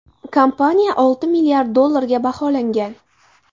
Kompaniya olti milliard dollarga baholangan.